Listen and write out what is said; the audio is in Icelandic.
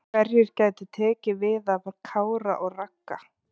Hverjir gætu tekið við af Kára og Ragga?